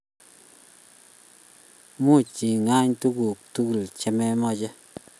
Much igoonq tuguuk tugul chamache